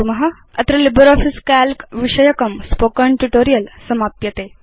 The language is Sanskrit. अत्र लिब्रियोफिस काल्क विषयकं स्पोकेन ट्यूटोरियल् समाप्यते